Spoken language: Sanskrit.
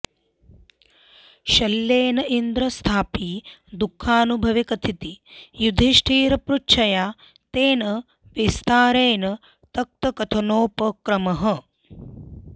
शल्येन इन्द्रस्यापि दुःखानुभवे कथिते युधिष्ठिरपृच्छया तेन विस्तरेण तत्कथनोपक्रमः